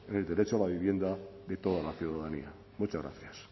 en el derecho a la vivienda de toda la ciudadanía muchas gracias